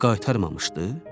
Qaytarmamışdı?